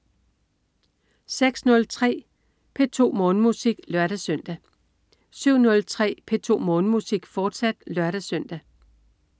06.03 P2 Morgenmusik (lør-søn) 07.03 P2 Morgenmusik, fortsat (lør-søn)